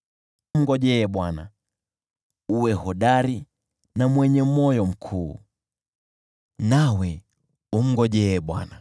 Mngojee Bwana , uwe hodari na mwenye moyo mkuu, nawe, umngojee Bwana .